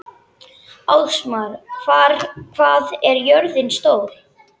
Ásmar, hvað er jörðin stór?